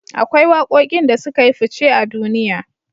Akwai waƙoƙin da sukayi fuce a duniya